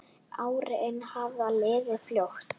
Árin hafa liðið fljótt.